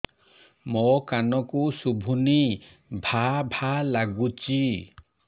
ମୋ କାନକୁ ଶୁଭୁନି ଭା ଭା ଲାଗୁଚି